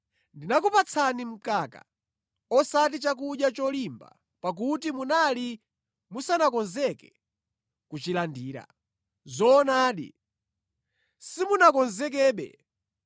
Ndinakupatsani mkaka osati chakudya cholimba pakuti munali musanakonzeke kuchilandira. Zoonadi, simunakonzekebe.